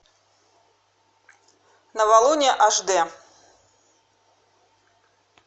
новолуние аш д